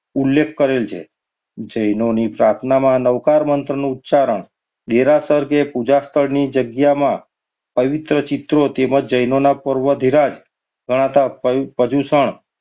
ઉલ્લેખ કરેલ છે. જૈનોની પ્રાર્થનામાં નવકાર મંત્ર નો ઉચ્ચારણ દેરાસર કે પૂજાસ્થળની જગ્યામાં પવિત્ર ચિઠ્ઠીઓ તેમજ જૈન ઓના પૂર્વધિરાજ ગણાતા પ~પર્યુષણ